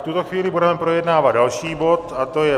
V tuto chvíli budeme projednávat další bod a to je